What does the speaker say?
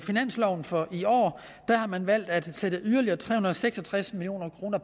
finansloven for i år har man valgt at sætte yderligere tre hundrede og seks og tres million kroner